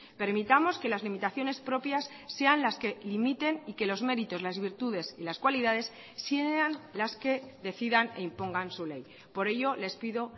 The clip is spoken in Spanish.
permitamos que las limitaciones propias sean las que limiten y que los méritos las virtudes y las cualidades sean las que decidan e impongan su ley por ello les pido